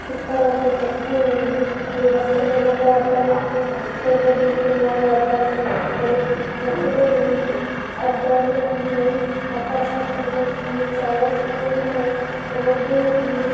ఇక్కడ ఒక బస్సు ఉంది ఈ బస్సు లో ఒకతను ఫోటో దిగుతున్నాడు అద్దాలు ఉన్నాయ్ బస్సుకు రెండు అద్దాలు ఉంది ఆకాశం కనిపిస్తుంది చాల చెట్లు ఉన్నాయి రోడ్ ఉంది.